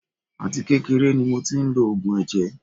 Àti kékeré ni mo tí ń lo oògùn ẹ̀jẹ̀.